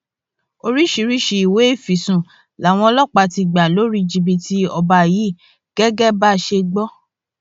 oríṣiríṣiì ìwé ìfisùn làwọn ọlọpàá ti gbà lórí jìbìtì ọba yìí gẹgẹ bá a ṣe gbọ